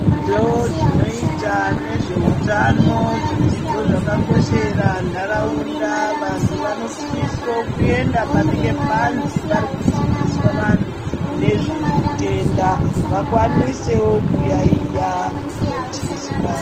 Zvidzidzo dzinoita nezveutano zvidzidzo zvakakoshera ntaraunda vandu vanosiso kuenda panenge panzi parikudzidziswa vantu nezvematenda vakwanisewo kuyaiya vachizwa .